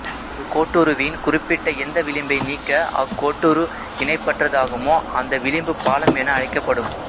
ஒரு கோட்டுருவின் குறிப்பிட்ட எந்த விளிம்பை நீக்க அக்கோட்டுரு இணைப்பற்றதாகுமோ அந்த விளிம்பு பாலம் என அழைக்கப்படும்